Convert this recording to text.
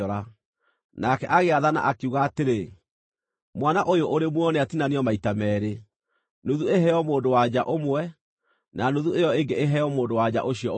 Nake agĩathana, akiuga atĩrĩ: “Mwana ũyũ ũrĩ muoyo nĩatinanio maita meerĩ, nuthu ĩheo mũndũ-wa-nja ũmwe, na nuthu ĩyo ĩngĩ ĩheo mũndũ-wa-nja ũcio ũngĩ.”